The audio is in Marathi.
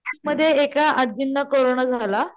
मध्ये एका आजींना कोरोना झाला